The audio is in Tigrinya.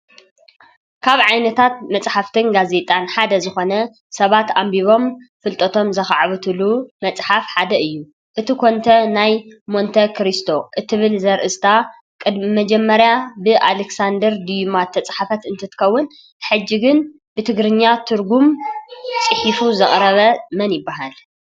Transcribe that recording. ካብ ዓይነታት መፅሓፍትን ጋዜጣን ሓደ ዝኾነ ሰባት ኣንቢቦም ፍልጠቶም ዘኻዕብትሉ መፅሓፍ ሓደ እዩ፡፡ እቲ ኮንተ ሞንተ-ክርስቶ ትብል ትብል ዘርእስታ ቅድሚ መጀመርያ ብኣለክሳንደር ድዩማ ዝተፃሕፈት እንትትከውን ሕጅ ግን ብትግርኛ ትርጉም ፅሒፉ ዘቕረበ መን እዩ ?